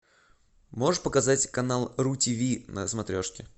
можешь показать канал ру ти ви на смотрешке